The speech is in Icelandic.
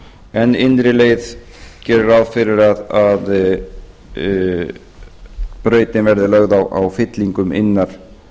en innri leið gerir ráð fyrir að brautin verði lög á fyllingum innar